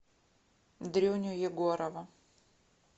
дрюню егорова